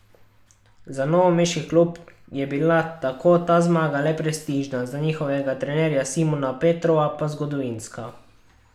Za novomeški klub je bila tako ta zmaga le prestižna, za njihovega trenerja Simona Petrova pa zgodovinska.